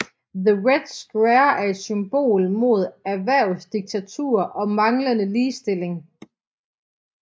The Red Square er et symbol mod erhvervsdiktatur og manglende ligestilling